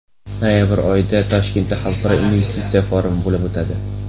Noyabr oyida Toshkentda Xalqaro investitsiya forumi bo‘lib o‘tadi.